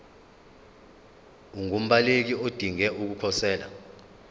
ungumbaleki odinge ukukhosela